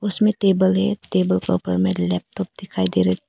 इसमें टेबल है टेबल के ऊपर में लैपटॉप दिखाई दे रहा है।